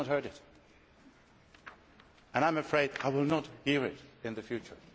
I have not heard it and I am afraid I will not hear it in the future.